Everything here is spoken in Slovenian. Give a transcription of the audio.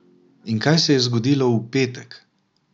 In kaj se je zgodilo v petek?